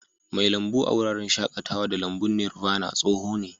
Mai lambu a wuraren shakatawa da lambun Nirvana tsoho ne.